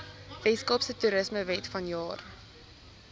weskaapse toerismewet vanjaar